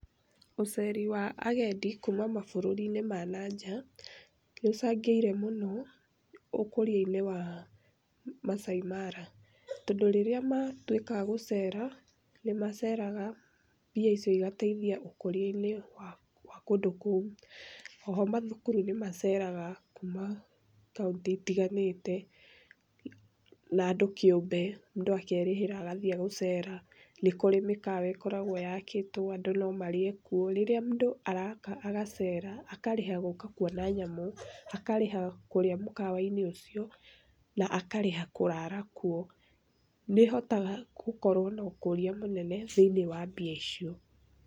Ũceri wa agendi kuuma mabururi-inĩ ma na nja, nĩ ũcangĩire mũno ũkũria-inĩ wa Masaai Mara tondũ rĩrĩa matuĩka agũcera, nĩ maceraga mbia icio igateithia ũkũria-inĩ wa kũndũ kũu. O ho mathukuru nĩ maceraga kuuma kaunti itiganĩte na andũ kĩũmbe. Mũndũ akerĩhĩra agathiĩ gũcera. Nĩ kũrĩ mĩkawa ĩkoragwo yakĩtwo andũ no marĩe kuo. Rĩrĩa araka agacera, akarĩha gũka kuona nyamũ, akarĩha kũrĩa mũkawa-inĩ ũcio na akarĩha kũrara kuo nĩ hotaga gũkorwo na ũkũria mũnene thĩiniĩ wa mbia icio.